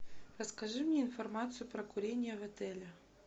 расскажи мне информацию про курение в отеле